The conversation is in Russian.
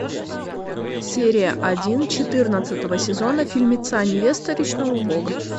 серия один четырнадцатого сезона фильмеца невеста речного бога